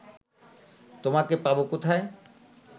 তোমাকে পাব কোথায়